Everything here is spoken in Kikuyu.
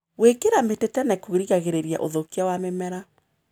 Gũĩkĩra mĩtĩ tene kũgiragĩrĩria ũthũkia wa mĩmera.